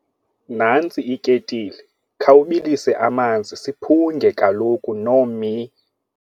Nantsi iketile, khawubilise amanzi siphunge kaloku , Nomhi.